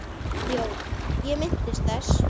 JÓN: Ég minnist þess.